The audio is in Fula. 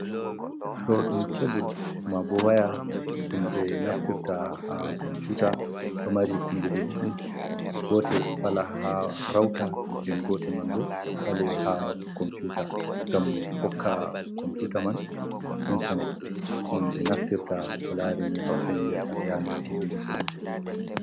Ɗo ɗum kebul maabo waya ɗum ɓe naftirta ha komputa, ɗo mari kunduɗe ɗiɗi gotel fala ha Rauta nden gotel man bo fale ha komputa ngam hokka komputa man intanet ɗum ɓe naftirta ko larini Hausa en viyata Ranar gizo gizo.